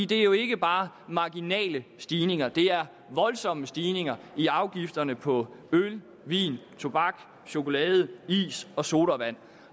det er jo ikke bare marginale stigninger det er voldsomme stigninger i afgifterne på øl vin tobak chokolade is og sodavand